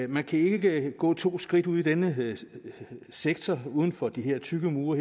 man kan ikke gå to skridt ude i denne sektor uden for de her tykke mure